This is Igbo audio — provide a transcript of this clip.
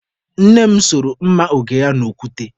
Nne m soro mma oge ya n'okwute.